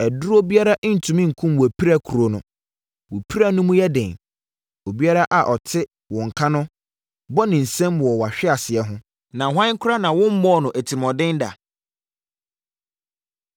Aduro biara ntumi nkum wʼapirakuro no; wo pira no mu yɛ den. Obiara a ɔte wo nka no bɔ ne nsam wɔ wʼasehweɛ ho, Na hwan koraa na wommɔɔ no atirimuɔden da?